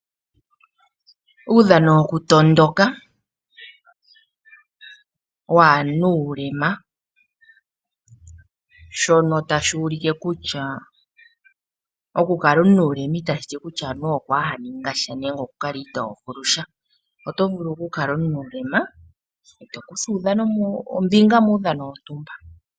Uudhano wokutondoka waanuulema shono ta shuulike kutya okukala omunuule ita shi ti kutya anuwa okwaa haningasha nenge okukala ito vulu sha, oto vulu okukala omunuulema e to kutha ombinga muudhano wontumba.